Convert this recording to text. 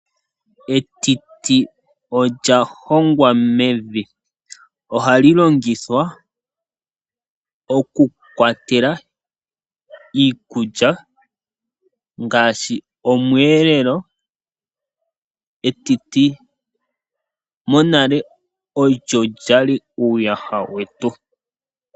Etiti olya hongwa mevi, ohali longithwa oku kwatela iikulya ngaashi omweelelo. Etiti monale olyo lyali uuyaha wetu.